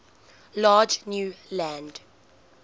large new land